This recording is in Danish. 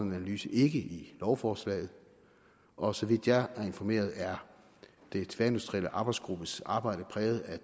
en analyse ikke i lovforslaget og så vidt jeg er informeret er den tværministerielle arbejdsgruppes arbejde præget af